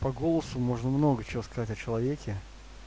по голосу можно много чего сказать о человеке